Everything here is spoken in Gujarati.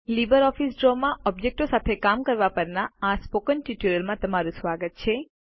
લીબરઓફીસ ડ્રો માં ઓબ્જેક્ટો સાથે કામ કરવા પરના આ સ્પોકન ટ્યુટોરિયલમાં તમારું સ્વાગત છે